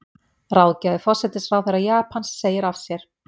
Ráðgjafi forsætisráðherra Japans segir af sér